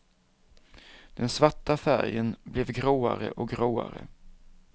Den svarta färgen blev gråare och gråare.